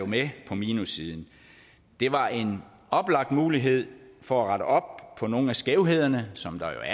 med på minussiden det var en oplagt mulighed for at rette op på nogle af skævhederne som der